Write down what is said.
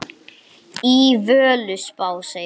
Í Völuspá segir